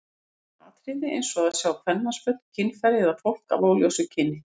Þetta eru atriði eins og að sjá kvenmannsföt, kynfæri eða fólk af óljósu kyni.